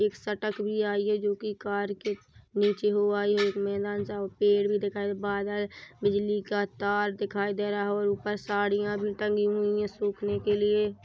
एक सटक भी आई हैजो की कार के नीचे हो आई हुई उस में पेड़ भी दिखाई बादल बिजली का तार दिखाई दे रहा और ऊपर साड़िया भी टंगी हुई हैं सूखने के लिए।